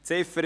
Ziff.